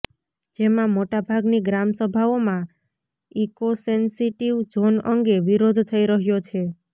જેમા મોટાભાગની ગ્રામસભાઓમાં ઇકોસેન્સિટીવ ઝોન અંગે વિરોધ થઇ રહયો છે